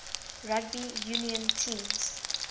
rugby union teams